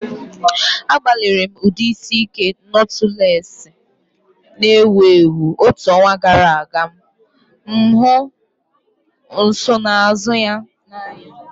Agbalịrị m ụdị isi ike notulesi na-ewu ewu otu ọnwa gara aga ma hụ nsonaazụ ya n'anya.